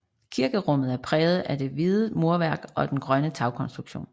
Kirkerummet er præget af det hvide murværk og den grønne tagkonstruktion